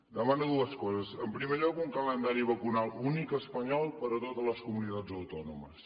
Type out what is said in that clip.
demana dues coses en primer lloc un calendari vacunal únic espanyol per a totes les comunitats autònomes